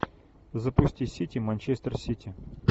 запусти сити манчестер сити